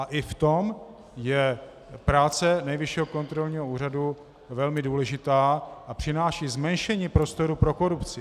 A i v tom je práce Nejvyššího kontrolního úřadu velmi důležitá a přináší zmenšení prostoru pro korupci.